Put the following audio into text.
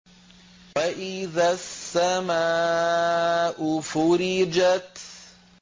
وَإِذَا السَّمَاءُ فُرِجَتْ